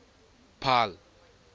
paarl